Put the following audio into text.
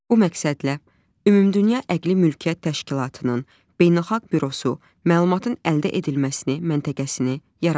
Bu məqsədlə Ümumdünya Əqli Mülkiyyət Təşkilatının Beynəlxalq Bürosu məlumatın əldə edilməsini məntəqəsini yaradır.